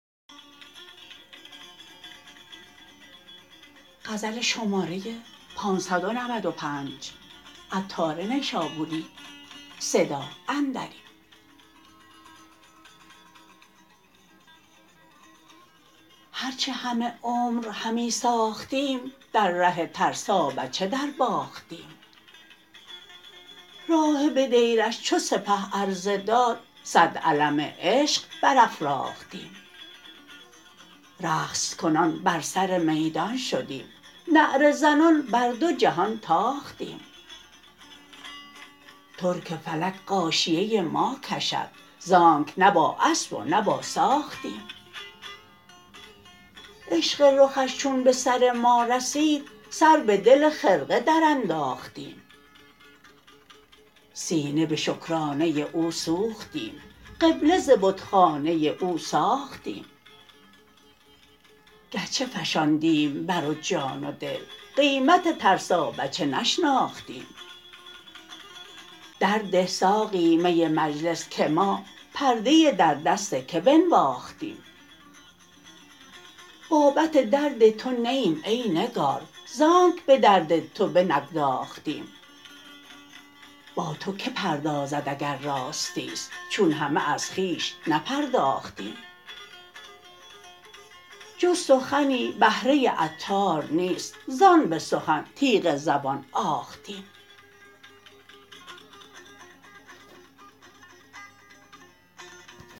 هرچه همه عمر همی ساختیم در ره ترسابچه درباختیم راهب دیرش چو سپه عرضه داد صد علم عشق برافراختیم رقص کنان بر سر میدان شدیم نعره زنان بر دو جهان تاختیم ترک فلک غاشیه ما کشد زانکه نه با اسب و نه با ساختیم عشق رخش چون به سر ما رسید سر به دل خرقه برانداختیم سینه به شکرانه او سوختیم قبله ز بتخانه او ساختیم گرچه فشاندیم بر او دین و دل قیمت ترسابچه نشناختیم درد ده ای ساقی مجلس که ما پرده درد است که بنواختیم نه که نه ما بابت درد توییم زانکه ز درد تو بنگداختیم با تو که پردازد اگر راستی است چون همه از خویش نپرداختیم جز سخنی بهره عطار نیست زان به سخن تیغ زبان آختیم